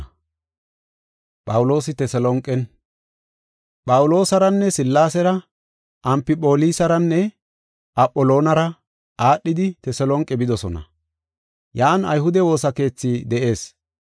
Phawuloosaranne Sillaasera Amfipholisaranne Apholonara aadhidi Teselonqe bidosona. Yan ayhude woosa keethi de7ees.